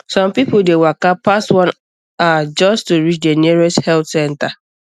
some people dey waka pass one hour just to reach the nearest health center